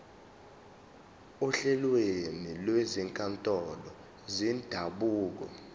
ohlelweni lwezinkantolo zendabuko